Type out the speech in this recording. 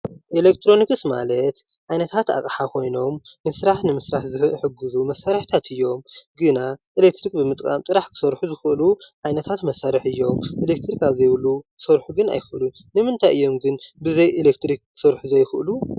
ኤሌትሮኒክስ ማለት ዓይነታት ኣቅሓ ኮይኖም ስራሕ ንምስራሕ ዝሕግዙ መሳርሕታት እዮም፡፡ ግና ኤሌትሪክ ብምጥቃም ጥራሕ ክሰርሑ ዝክእሉ ዓይነታት መሳርሒ እዮም፡፡ ኤሌትሪክ ኣብ ዘይብሉ ክሰርሑ ግን ኣይክእሉን፡፡ ንምንታይ እዮም ግን ብዘይ ኤሌክትሪከ ክሰርሑ ዘይክእሉ?